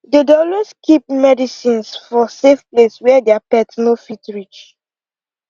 they dey always keep medicines for safe place where their pet no fit reach